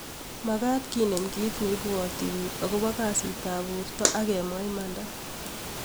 Magat kenem kit neibwati bik akobo kasit ab borto agemwa imanda